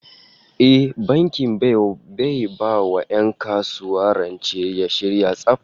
Eh, bankin bai wa 'yan kasuwa rance ya shirya tsaf